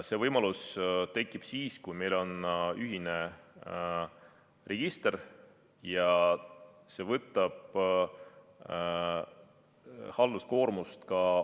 See võimalus tekib siis, kui meil on ühine register, ja see võtab ka omavalitsustelt halduskoormust vähemaks.